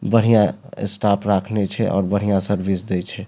बढ़िया स्टाप राखने छै और बढ़िया सर्विस दे छै।